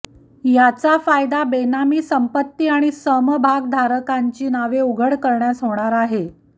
याचा फायदा बेनामी संपत्ती आणि समभागधारकांची नावे उघड करण्यास होणार आहे